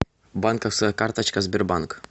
банковская карточка сбербанк